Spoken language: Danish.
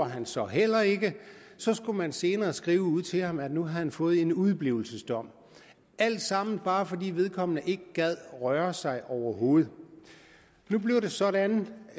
han så heller ikke så skal man senere skrive ud til ham at han nu har fået en udeblivelsesdom alt sammen bare fordi vedkommende ikke gider røre sig overhovedet nu bliver det sådan at man